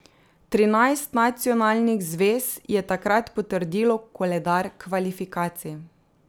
Trinajst nacionalnih zvez je takrat potrdilo koledar kvalifikacij.